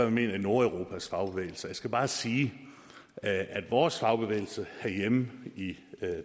mener i nordeuropas fagbevægelse jeg skal bare sige at vores fagbevægelse herhjemme i